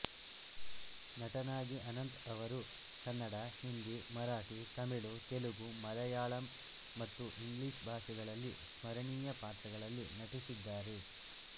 ನಟನಾಗಿ ಅನಂತ್ ಅವರು ಕನ್ನಡ ಹಿಂದಿ ಮರಾಠಿ ತಮಿಳು ತೆಲುಗು ಮಲಯಾಳಂ ಮತ್ತು ಇಂಗ್ಲಿಷ್ ಭಾಷೆಗಳಲ್ಲಿ ಸ್ಮರಣೀಯ ಪಾತ್ರಗಳಲ್ಲಿ ನಟಿಸಿದ್ದಾರೆ